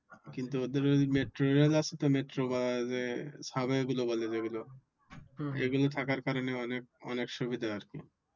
কিন্তু ওদের ওই মেট্রোরেল আছে তো মেট্রোবাসে এগুলো থাকার কারণে অনেক সুবিধা আরকি